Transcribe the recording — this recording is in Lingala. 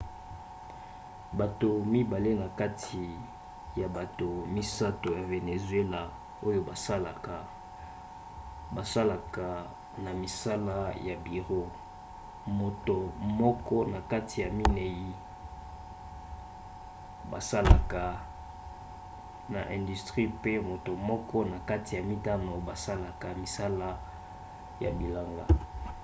bato mibale na kati ya bato misato ya venezuela oyo basalaka basalaka na misala ya biro moto moko na kati ya minei basalaka na industrie pe moto moko kati na mitano basalaka misala ya bilanga